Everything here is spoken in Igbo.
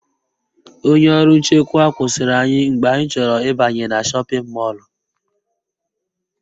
Onye ọrụ nchekwa kwụsịrị anyị mgbe anyị chọrọ ịbanye na shọpịn mọlụ